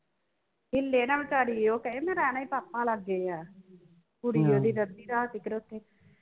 ਹਿਲੇ ਨਾ ਵਿਚਾਰੀ ਉਹ ਕਹੇ ਮੈ ਰਹਿਣਾ ਹੀ ਪਾਪਾ ਲਾਗੇ ਆ ਕੁੜੀ ਉਹਦੀ ਅੱਧੀ ਰਾਤ ਦੀ ਖਲੋਤੀ